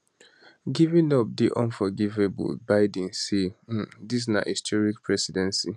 giving up dey unforgivablebiden say um dis na historic presidency